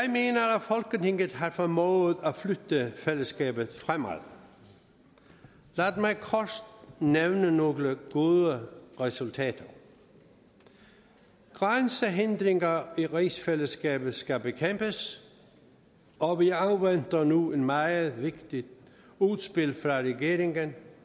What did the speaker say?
folketinget har formået at flytte fællesskabet fremad lad mig kort nævne nogle gode resultater grænsehindringer i rigsfællesskabet skal bekæmpes og vi afventer nu et meget vigtigt udspil fra regeringen